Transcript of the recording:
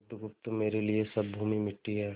बुधगुप्त मेरे लिए सब भूमि मिट्टी है